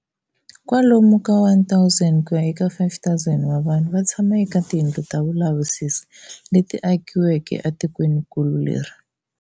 Kwalomu ka 1,000 kuya eka 5,000 wa vanhu vatshama eka tiyindlu ta vulavisisi leti akiweke atikweninkulu leri.